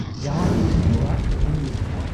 ᱡᱟᱶᱟᱭᱮ ᱦᱤᱡᱩᱜ ᱟ ᱛᱮᱦᱮᱧ ᱧᱤᱫᱟᱹ ᱾